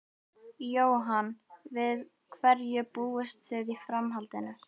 Jóhann: Við hverju búist þið í framhaldinu?